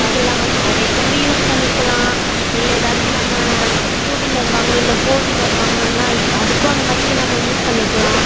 பண்ணிக்கலாம் marriage கும் use பண்ணிக்கலாம் இல்ல எதாச்சும் நாம two wheeler வாங்கணும் இல்ல four wheeler வாங்கணும் அதுக்கும் அந்த மாதிரி நம்ம use பண்ணிக்கலாம்.